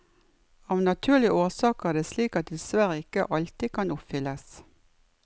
Av naturlige årsaker er det slik at det dessverre ikke alltid kan oppfylles.